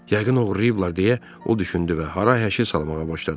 Yəqin oğurlayıblar deyə o düşündü və hay-həşir salmağa başladı.